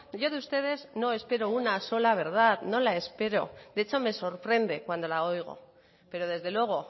yo de ustedes no espero una sola verdad no la espero de hecho me sorprende cuando la oigo pero desde luego